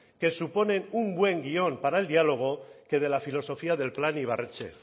que suponen un buen guión para el diálogo que de la filosofía del plan ibarretxe